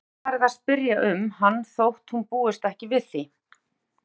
Hún geti farið að spyrja um hann þótt hún búist ekki við því.